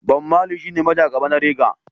Bob Mali shine majagaba na reggae.